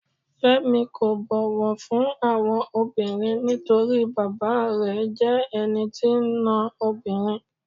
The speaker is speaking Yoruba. Fẹ́mi kò bọ̀wọ̀ fún àwọn obìnrin nítorí bàbáa rẹ̀ jẹ́ ẹni tí ń ná obìnrin.